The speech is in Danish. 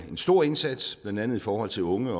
en stor indsats blandt andet i forhold til unge